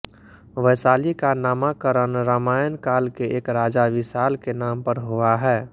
वैशाली का नामाकरण रामायण काल के एक राजा विशाल के नाम पर हुआ है